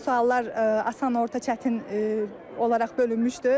Suallar asan, orta, çətin olaraq bölünmüşdü.